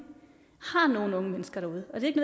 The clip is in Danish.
har nogle unge mennesker derude og det